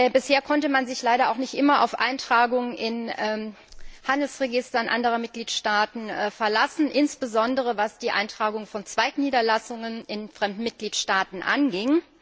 Bisher konnte man sich leider auch nicht immer auf Eintragungen in Handelsregistern anderer Mitgliedstaaten verlassen, insbesondere was die Eintragung von Zweigniederlassungen in fremden Mitgliedstaaten anging.